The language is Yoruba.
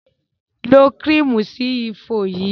Lo kírímù sí ifo yìí!